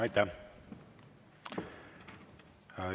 Aitäh!